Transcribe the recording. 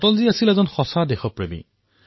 অটলজী এজন প্ৰকৃত দেশভক্ত আছিল